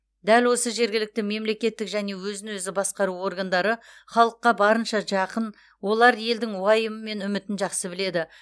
дәл осы жергілікті мемлекеттік және өзін өзі басқару органдары халыққа барынша жақын олар елдің уайымы мен үмітін жақсы біледі